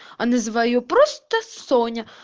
а называю просто соня